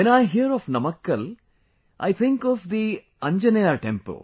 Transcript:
When I hear of Namakka I think of the Anjaneyar temple